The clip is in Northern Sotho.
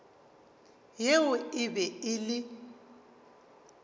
yeo e be e le